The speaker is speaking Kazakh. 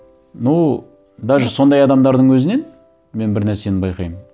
ну даже сондай адамдардың өзінен мен бір нәрсені байқаймын